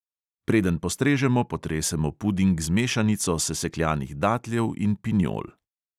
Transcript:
Preden postrežemo, potresemo puding z mešanico sesekljanih datljev in pinjol.